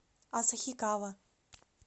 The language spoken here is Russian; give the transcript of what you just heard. асахикава